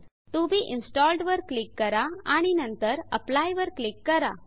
TO be installed to be इनस्टॉल्डवर click करा आणि नंतर एप्ली अप्लाइवर क्लिक करा